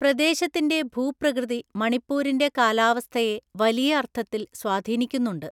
പ്രദേശത്തിന്റെ ഭൂപ്രകൃതി മണിപ്പൂരിന്റെ കാലാവസ്ഥയെ വലിയ അർത്ഥത്തിൽ സ്വാധീനിക്കുന്നുണ്ട്.